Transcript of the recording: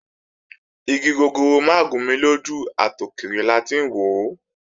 Igi gogoro mà gún ni lójú, àtòkèrè la ti ń wòó